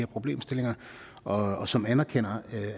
problemstillinger og som anerkender